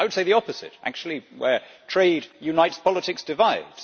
I would say the opposite actually where trade unites, politics divide.